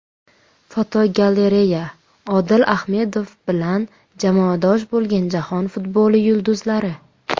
Fotogalereya: Odil Ahmedov bilan jamoadosh bo‘lgan jahon futboli yulduzlari.